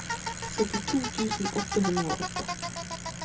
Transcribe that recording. syttito tusen åtte hundre og åtte